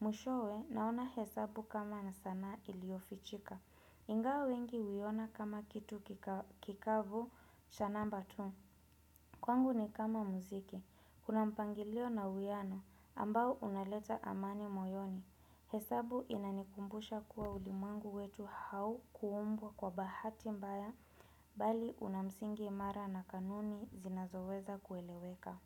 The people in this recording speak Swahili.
Mwishowe naona hesabu kama nisana iliofichika. Ingao wengi uyona kama kitu kikavu cha namba tu. Kwangu ni kama muziki, kuna mpangilio na uwiano ambao unaleta amani moyoni, hesabu inanikumbusha kuwa ulimangu wetu hau kuumbwa kwa bahati mbaya bali unamsingi mara na kanuni zinazoweza kueleweka.